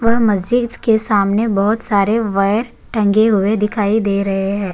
व मस्जिद के सामने बहोत सारे वायर टंगे हुए दिखाई दे रहें हैं।